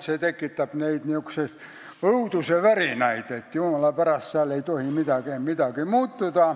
Seal ei tohi jumala pärast midagi muutuda